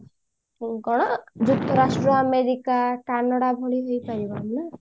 କଣ ଯୁକ୍ତରାଷ୍ଟ୍ର ଆମେରିକା ବା କାନାଡା ଭଳି ହେଇ ପାରିବାନି ନା